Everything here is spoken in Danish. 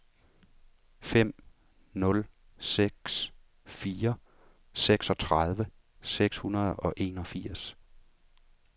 fem nul seks fire seksogtredive seks hundrede og enogfirs